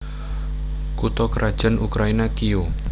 Kutha krajan Ukraina Kiyéw